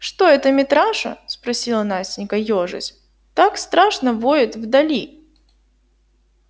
что это митраша спросила настенька ёжась так страшно воет вдали